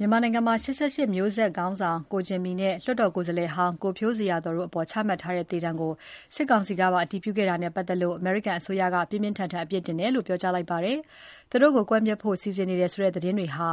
မြန်မာနိုင်ငံမှာ ၈၈ မျိုးဆက်ခေါင်းဆောင် ကိုဂျင်မီနဲ့ လွှတ်တော်ကိုယ်စားလှယ်ဟောင်း ကိုဖြိုးဇေယျာသော်တို့အပေါ် ချမှတ်ထားတဲ့ သေဒဏ်ကို စစ်ကောင်စီကပါ အတည်ပြုခဲ့တာနဲ့ပတ်သက်လို့ အမေရိကန်အစိုးရက ပြင်းပြင်းထန်ထန် အပြစ်တင်တယ်လို့ ပြောကြားလိုက်ပါတယ်။ သူတို့ကို ကွပ်မျက်ဖို့ စီစဉ်နေတယ်ဆိုတဲ့သတင်းတွေဟာ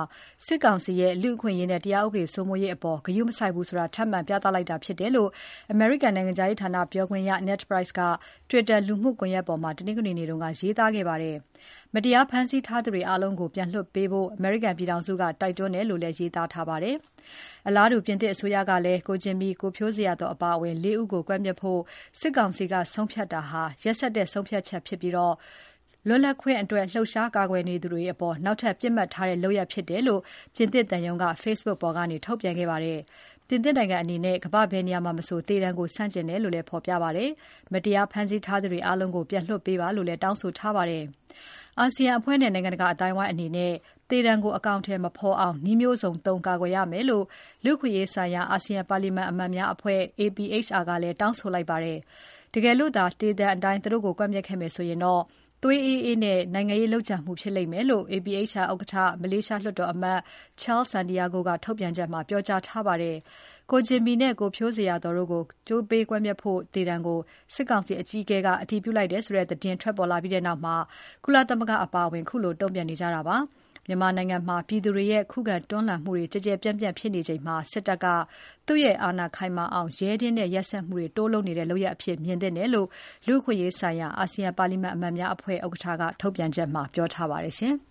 စစ်ကောင်စီရဲ့ လူ့အခွင့်အရေးနဲ့ တရားဥပဒေစိုးမိုးရေးအပေါ် ဂရုမစိုက်ဘူးဆိုတာ ထပ်မံပြသလိုက်တာဖြစ်တယ်လို့ အမေရိကန်နိုင်ငံခြားရေးဌာနပြောခွင့်ရ Ned Price က Twitter လူမှုကွန်ယက်ပေါ်မှာ တနင်္ဂနွေနေ့က ရေးသားခဲ့ပါတယ်။ မတရားဖမ်းဆီးထားသူတွေအားလုံးကို ပြန်လွှတ်ပေးဖို့ အမေရိကန်ပြည်ထောင်စုက တိုက်တွန်းတယ်လို့လည်း ရေးသားခဲ့ပါတယ်။ အလားတူ ပြင်သစ်အစိုးရကလည်း ကိုဂျင်မီ၊ ကိုဖြိုးဇေယျာသော်အပါအဝင် ၄ ဦးကို ကွပ်မျက်ဖို့ စစ်ကောင်စီက ဆုံးဖြတ်တာဟာ ရက်စက်တဲ့ဆုံးဖြတ်ချက်ပြီး လွတ်လပ်ခွင့်အတွက် လှုပ်ရှားကာကွယ်သူတွေအပေါ် နောက်ထပ် ပစ်မှတ်ထားတဲ့လုပ်ရပ်ဖြစ်တယ်လို့ ပြင်သစ်သံရုံးကလည်း Facbook ပေါ်ကနေ ထုတ်ပြန်ခဲ့ပါတယ်။ ပြင်သစ်နိုင်ငံအနေနဲ့ ကမ္ဘာ့ဘယ်နေရာမှာမဆို သေဒဏ်ကို ဆန့်ကျင်တယ်လို့လည်း ဖော်ပြထားပါတယ်။ မတရားဖမ်းဆီးထားသူတွေအားလုံးကို ပြန်လွှတ်ပေးပါလို့လည်း တောင်းဆိုထားပါတယ်။ ASEAN အဖွဲ့နဲ့ နိုင်ငံတကာအသိုင်းအဝိုင်းအနေနဲ့ သေဒဏ်ကို အကောင်အထည်မဖော်အောင် နည်းမျိုးစုံသုံး ကာကွယ်ရမယ်လို့ လူ့အခွင့်အရေးဆိုင်ရာ အာဆီယံပါလီမန်အမတ်များအဖွဲ့ APHR ကလည်း တောင်းဆိုလိုက်ပါတယ်။ တကယ်လို့သာ သေဒဏ်အတိုင်း သူတို့ကို ကွပ်မျက်ခဲ့မယ်ဆိုရင်တော့ သွေးအေးအေးနဲ့ နိုင်ငံရေးလုပ်ကြံမှုဖြစ်လိမ့်မယ်လို့ APHR ဥက္ကဋ္ဌ မလေးရှားလွှတ်တော်အမတ် Charles Santiago က ထုတ်ပြန်ချက်မှာ ပြောကြားထားပါတယ်။ ကိုဂျင်မီနဲ့ ကိုဖြိုးဇေယျာသော်တို့ကို ကြိုးပေးကွက်မျက်ဖို့ သေဒဏ်ကို စစ်ကောင်စီအကြီးအကဲက အတည်ပြုလိုက်တယ်ဆိုတဲ့ သတင်းထွက်ပေါ်လာခဲ့ပြီးနောက် ကုလသမဂ္ဂအပါအဝင် ခုလို တုံ့ပြန်နေကြတာဖြစ်ပါတယ်။ မြန်မာနိုင်ငံမှာ ပြည်သူတွေရဲ့ ခုခံတွန်းလှန်မှုတွေ ကျယ်ကျယ်ပြန့်ပြန့်ဖြစ်နေချိန်မှာ စစ်တပ်က သူ့ရဲ့အာဏာ ခိုင်မာအောင် ရဲတင်းတဲ့ ရက်စက်မှုတွေ တိုးလုပ်နေတဲ့လုပ်ရပ်အဖြစ် မြင်သင့်တယ်လို့ လူ့အခွင့်အရေးဆိုင်ရာ အာဆီယံပါလီမာန်အမတ်များအဖွဲ့ ဥက္ကဋ္ဌက ထုတ်ပြန်ချက်မှာ ပြောထားပါတယ်။